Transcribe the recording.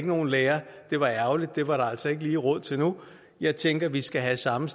nogen lærere det var ærgerligt det var der altså ikke lige råd til nu jeg tænker vi skal have samme